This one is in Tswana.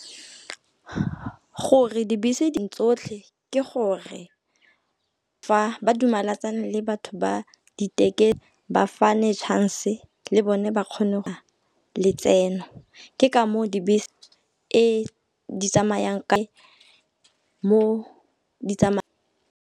Gore dibese dintsi tsotlhe ke gore fa ba dumelatsane le batho ba di , ba fane chance le bone ba kgone go letseno. Ke ka moo dibese mo di .